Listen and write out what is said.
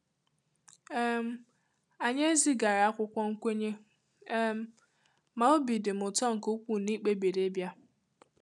um Anyị ezigara akwụkwọ nkwenye, um ma obi dị m ụtọ nke ukwuu ná ị kpebiri ịbịa.